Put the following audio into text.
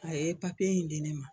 A ye in di ne ma